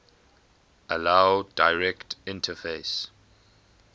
allow direct interface